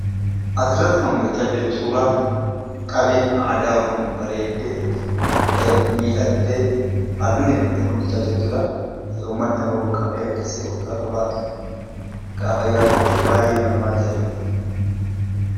Asirratti kan mul'achaa jiru suuraa qabeen aadaa Oromoo bareeddee, miidhagdee, halluu dibamtee mul'achaa jirtudha. Uummatni Oromoo qabee akkasii yoggaa qabaatu, gaafa yaadattu baay'eema nama ajaa'iba!